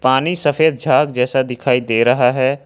पानी सफेद झाग जैसा दिखाई दे रहा है।